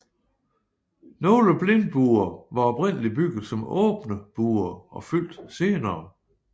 Nogle blindbuer var oprindeligt bygget som åbne buer og fyldt senere